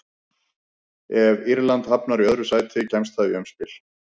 Ef Írland hafnar í öðru sæti kemst það í umspil.